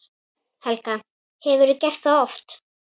Helga: Hefurðu gert það oft?